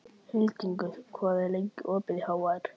Hildingur, hvað er lengi opið í HR?